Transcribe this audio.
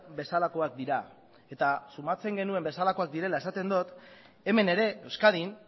bezalakoak dira eta sumatzen genuen bezalakoak direla esaten dut hemen ere euskadin